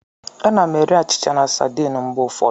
Ana m eri achịcha na sardine mgbe ụfọdụ.